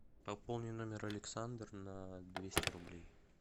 пополни номер александр на двести рублей